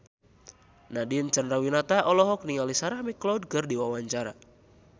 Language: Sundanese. Nadine Chandrawinata olohok ningali Sarah McLeod keur diwawancara